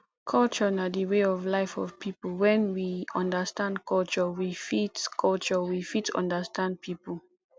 culture na di way of life of pipo when we understand culture we fit culture we fit understand pipo